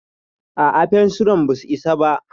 A'a, fensiran basu isa ba.